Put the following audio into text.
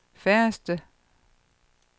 færreste